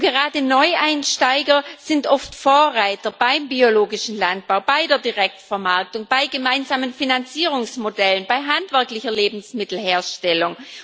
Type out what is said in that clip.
Gerade Neueinsteiger sind oft Vorreiter beim biologischen Landbau, bei der Direktvermarktung, bei gemeinsamen Finanzierungsmodellen, bei handwerklicher Lebensmittelherstellung.